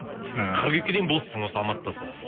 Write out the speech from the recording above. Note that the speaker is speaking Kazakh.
ыыы қыркүйекке дейін боссың осы алматыдасың